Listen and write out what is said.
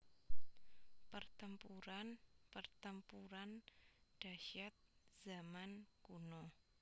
Pertempuran Pertempuran Dahsyat Zaman Kuno